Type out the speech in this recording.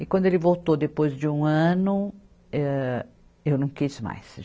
E quando ele voltou depois de um ano, âh, eu não quis mais.